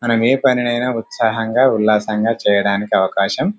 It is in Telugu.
మనము ఏ పనినైనా ఉత్సాహంగా ఉల్లసంగా చెయ్యడానికి ఆవకాశం ఉంది --